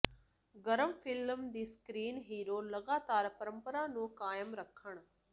ਗਰਮ ਫਿਲਮ ਦੀ screen hero ਲਗਾਤਾਰ ਪਰੰਪਰਾ ਨੂੰ ਕਾਇਮ ਰੱਖਣ